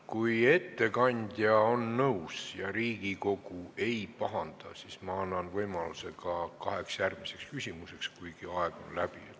Kui ettekandja on nõus ja Riigikogu ei pahanda, siis ma annan võimaluse esitada ka kaks järgmist küsimust, kuigi aeg on läbi.